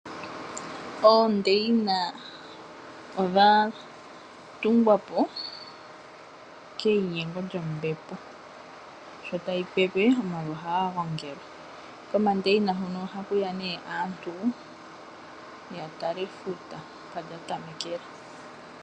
Oondeina odha tholomwa po keyinyengo lyombepo sho tayi pepe omavi ohaga gongala. Komandeina hoka ohaku ya aantu ya tale efuta mpoka lya tamekela.